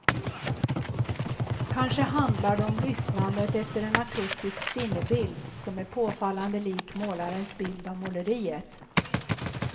Kanske handlar det om lyssnandet efter en akustisk sinnebild som är påfallande lik målarens bild av måleriet.